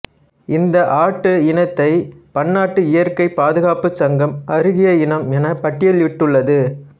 இந்த ஆட்டு இனத்தை பன்னாட்டு இயற்கைப் பாதுகாப்புச் சங்கம் அருகிய இனம் என பட்டியலிட்டுள்ளது